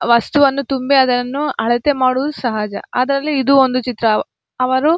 ವಸ್ತುವನ್ನು ತುಂಬಿ ಅದನ್ನು ಅಳತೆ ಮಾಡುವುದು ಸಹಜ ಅದ್ರಲ್ಲಿ ಇದು ಒಂದು ಚಿತ್ರ ಅವರು.